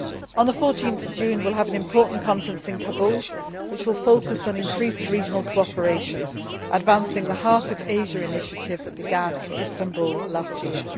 On 14 June, we will have an important conference in Kabul which will focus on increased regional cooperation advancing the Heart of Asia' initiative that began in Istanbul last year.